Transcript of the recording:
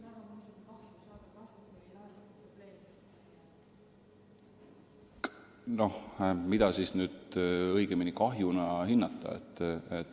Noh, mida sellisel juhul üldse kahjuna hinnata?